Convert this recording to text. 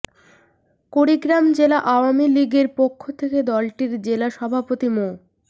কুড়িগ্রাম জেলা আওয়ামী লীগের পক্ষ থেকে দলটির জেলা সভাপতি মো